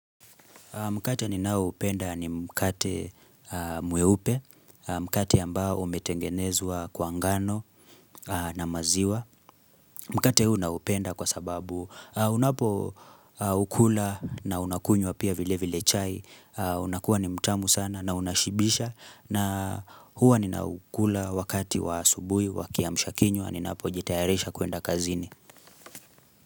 Mkate ni naoupenda ni mkate mweupe, mkate ambao umetengenezwa kwa ngano na maziwa. Mkate huu naupenda kwa sababu unapo ukula na unakunywa pia vile vile chai. Unakuwa ni mtamu sana na unashibisha na huwa ni naukula wakati wa asubui, wakia mshakinywa, ninapo jitayarisha kuenda kazini.